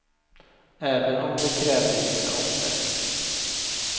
Även om det krävde vissa offer.